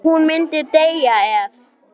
Hún myndi deyja ef.?